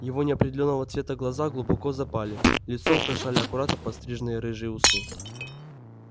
его неопределённого цвета глаза глубоко запали лицо украшали аккуратно подстриженные рыжие усы